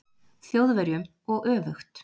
Þjóðverjum og öfugt.